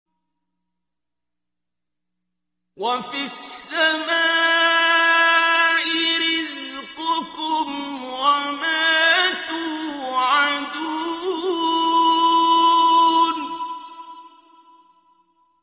وَفِي السَّمَاءِ رِزْقُكُمْ وَمَا تُوعَدُونَ